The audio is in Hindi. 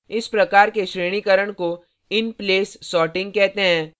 इस प्रकार के श्रेणीकरण को inplace sorting कहते हैं